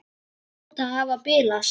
Þær hljóta að hafa bilast!